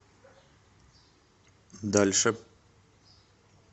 дальше